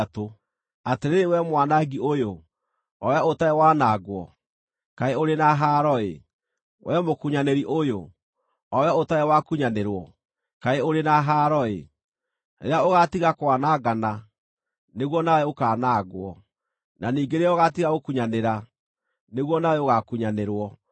Atĩrĩrĩ wee mwanangi ũyũ, o wee ũtarĩ wanangwo, kaĩ ũrĩ na haaro-ĩ! Wee mũkunyanĩri ũyũ, o wee ũtarĩ wakunyanĩrwo, kaĩ ũrĩ na haaro-ĩ! Rĩrĩa ũgaatiga kwanangana, nĩguo nawe ũkaanangwo, na ningĩ rĩrĩa ũgaatiga gũkunyanĩra, nĩguo nawe ũgaakunyanĩrwo.